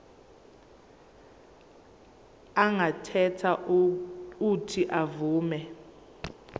angakhetha uuthi avume